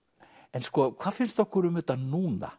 en sko hvað finnst okkur um þetta núna